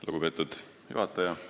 Lugupeetud juhataja!